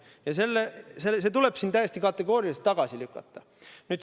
Ja see tuleb siin täiesti kategooriliselt tagasi lükata.